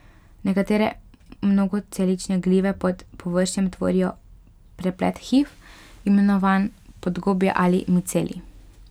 Nekatere mnogocelične glive pod površjem tvorijo preplet hif, imenovan podgobje ali micelij.